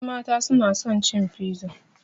Ƴanmata suna son cin fiza